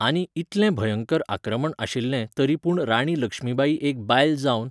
आनी इतलें भयंकर आक्रमण आशिल्ले तरी पूण राणी लक्ष्मीबाई एक बायल जावन